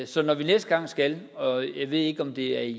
så når vi næste gang skal og jeg ved ikke om det er i